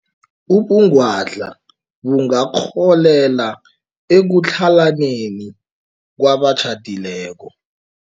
Ubungwadla bungarholela ekutlhalaneni kwabatjhadileko.